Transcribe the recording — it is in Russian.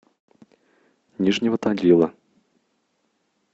нижнего тагила